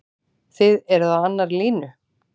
Þið eruð á annarri línu?